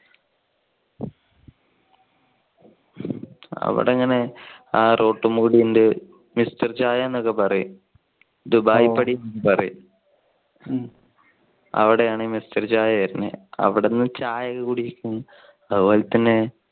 അവിടെ ഇങ്ങനെ ആ റോട്ടിലൂടെ ഇങ്ങനെ മിസ്റ്റർ ചായ എന്നൊക്കെ പറയും ദുബായ് പടി എന്ന് പറയും. അവിടെ ആണ് ഈ മിസ്റ്റർ ചായ വരുന്നത്. അവിടെന്നു ചായ ഒക്കെ കുടിക്കും. അതുപോലെ തന്നെ